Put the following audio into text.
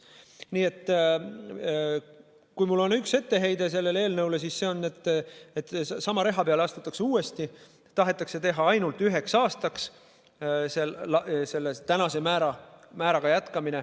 Nii et kui mul on üks etteheide sellele eelnõule, siis see on, et sama reha peale astutakse uuesti, tahetakse praeguse määraga jätkamine teha ainult üheks aastaks.